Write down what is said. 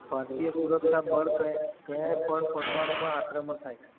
ભારતીય સુરક્ષા બળ ક્યાંય પણ પરમાણુમાં આક્રમણ થાય